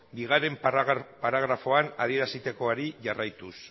bigarren paragrafoan adierazitakoari jarraituz